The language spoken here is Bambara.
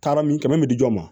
Taara min kɛmɛ di ma